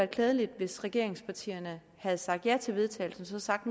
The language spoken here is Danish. klædeligt hvis regeringspartierne havde sagt ja til vedtagelse og så sagt